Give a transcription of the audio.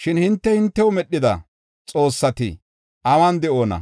Shin hinte, hintew medhida xoossati awun de7oona?